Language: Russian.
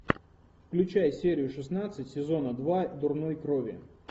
включай серию шестнадцать сезона два дурной крови